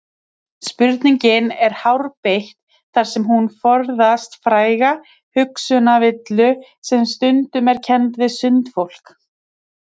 Spurningin er hárbeitt þar sem hún forðast fræga hugsanavillu sem stundum er kennd við sundfólk.